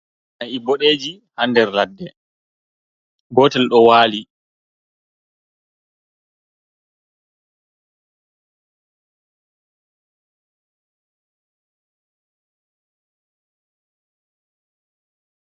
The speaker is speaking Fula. Na'i boɗeji ha nder ladde, gotel ɗo wali.